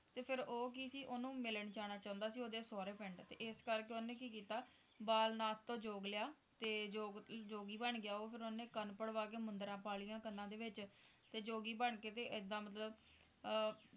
ਤੇ ਫੇਰ ਉਹ ਕਿ ਸੀ ਓਹਨੂੰ ਮਿਲਣ ਜਾਣਾ ਚਾਹੁੰਦਾ ਸੀ ਓਹਦੇ ਸੋਹਰੇ ਪਿੰਡ ਤੇ ਇਸ ਕਰਕੇ ਓਹਨੇ ਕੀ ਕੀਤਾ ਬਾਲਨਾਥ ਤੋਂ ਜੋਗ ਲਿਆ ਤੇ ਜੋਗ ਜੋਗੀ ਬਣ ਗਿਆ ਉਹ ਤੇ ਓਹਨੇ ਕੰਨ ਪੜਵਾ ਕੇ ਮੁੰਦਰਾਂ ਮੁੰਦਰਾਂ ਪਾ ਲਿਆਂ ਤੇ ਜੋਗੀ ਬਣ ਕੇ ਤੇ ਇੱਦਾਂ ਮਤਲਬ